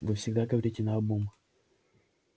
вы всегда говорите наобум